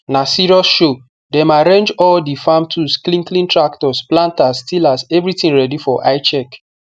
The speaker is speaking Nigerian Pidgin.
na serious show dem arrange all the farm tools clean clean tractors planters tillers everything ready for eye check